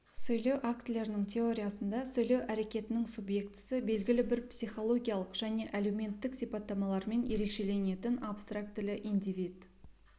сөйлеу актілерінің теориясында сөйлеу әрекетінің субъектісі белгілі бір психологиялық және әлеуметтік сипатталамалармен ерекшеленетін абстрактілі индивид